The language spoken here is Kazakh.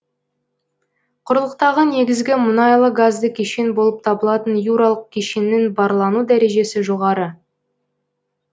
құрлықтағы негізгі мұнайлы газды кешен болып табылатын юралық кешеннің барлану дәрежесі жоғары